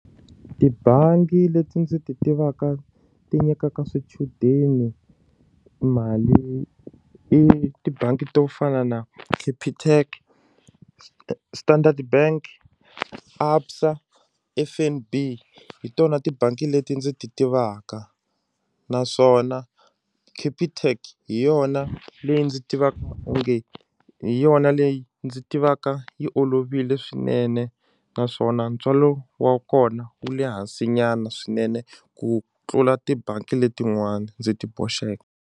Tibangi leti ndzi ti tivaka ti nyikaka swichudeni mali i tibangi to fana na capitec standard bank ABSA F_N_B hi tona tibangi leti ndzi ti tivaka naswona capitec hi yona leyi ndzi tivaka onge hi yona leyi ndzi yi tivaka yi olovile swinene naswona ntswalo wa kona wu le hansi nyana swinene ku tlula tibangi letin'wana ndzi ti boxeke.